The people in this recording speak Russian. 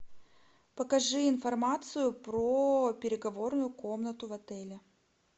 покажи информацию про переговорную комнату в отеле